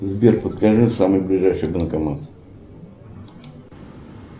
сбер подскажи самый ближайший банкомат